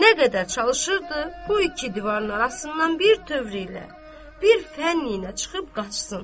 Nə qədər çalışırdı bu iki divarın arasından bir tövr ilə, bir fənn ilə çıxıb qaçsın.